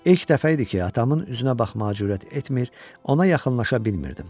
İlk dəfə idi ki, atamın üzünə baxmağa cürət etmir, ona yaxınlaşa bilmirdim.